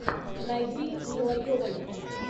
найди мила йовович